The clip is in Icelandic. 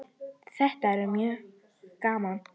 Þetta er mjög gaman